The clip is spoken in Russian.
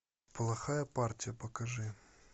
плохая партия покажи